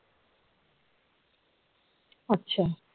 আচ্ছা